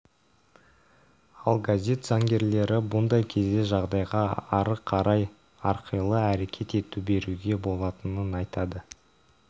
ал газет заңгерлері бұндай кезде жағдайға қарай әрқилы әрекет ете беруге болатынын айтады